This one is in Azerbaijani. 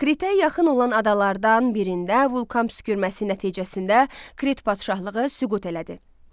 Kritə yaxın olan adalardan birində vulkan püskürməsi nəticəsində Krit padşahlığı süqut elədi.